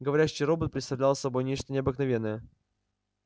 говорящий робот представлял собой нечто необыкновенное